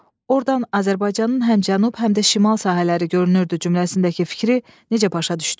Ordan Azərbaycanın həm cənub, həm də şimal sahələri görünürdü cümləsindəki fikri necə başa düşdüz?